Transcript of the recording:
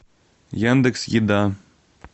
яндекс еда